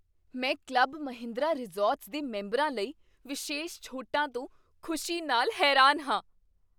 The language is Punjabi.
ਮੈਂ ਕਲੱਬ ਮਹਿੰਦਰਾ ਰਿਜ਼ੌਰਟਸ ਦੇ ਮੈਂਬਰਾਂ ਲਈ ਵਿਸ਼ੇਸ਼ ਛੋਟਾਂ ਤੋਂ ਖ਼ੁਸ਼ੀ ਨਾਲ ਹੈਰਾਨ ਹਾਂ।